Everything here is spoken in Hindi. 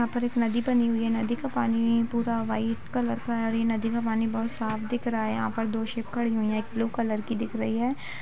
यहाँ पर एक नदी बनी हुई है नदी का पानी पूरा वाईट कलर का है और ये नदी का पानी बहुत साफ दिख रहा है यहाँ पर दो शिप खड़ी हुई है एक ब्लू कलर की दिख रही है।